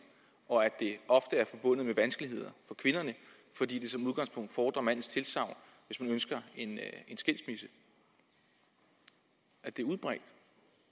og at det ofte er forbundet med vanskeligheder for kvinderne fordi det som udgangspunkt fordrer mandens tilsagn hvis man ønsker en skilsmisse at det er udbredt